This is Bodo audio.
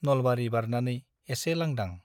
नलबारी बारनानै एसे लांदां ।